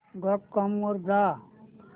dot com वर जा